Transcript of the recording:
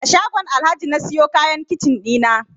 A shagon Alhaji na siyo kayan kicin ɗina